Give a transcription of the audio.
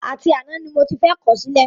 Àti àná ni mo ti fẹ́ kọ̀ ọ́ sílẹ̀